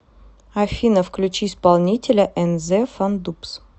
афина включи исполнителя энзэ фандубс